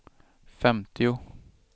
femtio